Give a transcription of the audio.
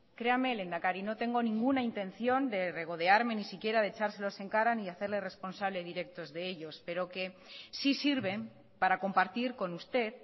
creame lehendakari no tengo ninguna intención de regodearme ni siquiera de echárselos en cara ni hacerle responsable directos de ellos pero que sí sirven para compartir con usted